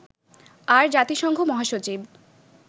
আর জাতিসংঘ মহাসচিব